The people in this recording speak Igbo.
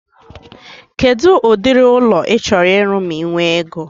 Kedụ ụdịrị ụlọ ị chọrọ ịrụ ma I nwee ego?